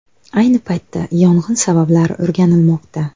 Ayni paytda yong‘in sabablari o‘rganilmoqda.